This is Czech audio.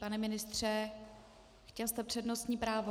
Pane ministře, chtěl jste přednostní právo.